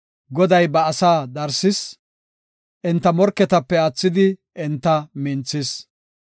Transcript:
Goday ba asaa darsis; enta morketape aathidi enta minthis.